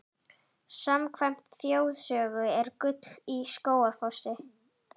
Samkvæmt þjóðsögu er gull í Skógafossi.